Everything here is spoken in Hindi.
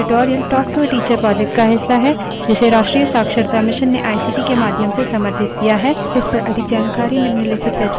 spoken tutorials talk to a teacher project का हिस्सा है जिसे राष्ट्रीय शिक्षा mission ने आईसीटी के माध्यम से समर्थित किया है